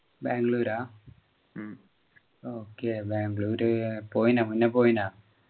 ബാംഗ്ലുരാ okay Bengaluru പോയിനാ മുന്നേ പോയിനാ